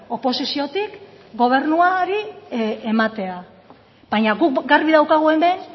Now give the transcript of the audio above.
oposiziotik gobernuari ematea baina guk garbi daukagu hemen